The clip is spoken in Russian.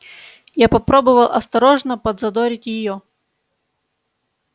я попробовал осторожно подзадорить её